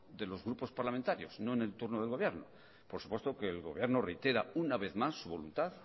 de los grupos parlamentarios no en el turno del gobierno por supuesto que el gobierno reitera una vez más su voluntad